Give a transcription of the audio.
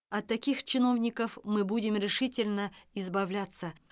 от таких чиновников мы будем решительно избавляться